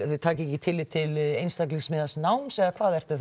taki ekki tillit til einstaklingsmiðaðs náms eða hvað ertu